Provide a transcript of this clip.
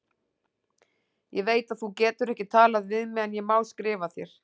Ég veit að þú getur ekki talað við mig en ég má skrifa þér.